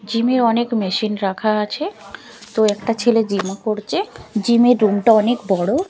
Gym -এ অনেক machine রাখা আছে তো একটা ছেলে জিম -ও করছে জিম -এর রুম -টা অনেক বড়।